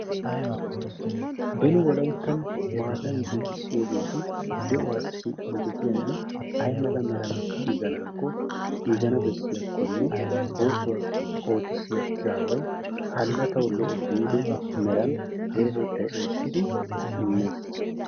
beni wolayttan maatan giigisyoogeti de'uwassi injjetiyanne ayi mala meran giiganaakko giigana bessiyaakkonne oosuwa oottisiya izzaaway hana tawu gidana giido meran deretettay ootidi immees.